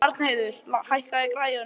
Arnheiður, hækkaðu í græjunum.